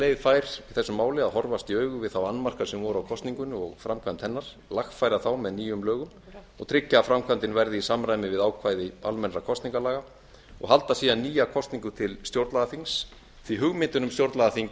leið fær í þessu máli að horfast í augu við þá annmarka sem voru á kosningunni og framkvæmd hennar lagfæra þá með nýjum lögum og tryggja að framkvæmdin verði í samræmi við ákvæði almennra kosningalaga og halda síðan nýja kosningu til stjórnlagaþings því hugmyndin um stjórnlagaþing